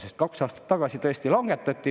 Sest kaks aastat tagasi tõesti langetati …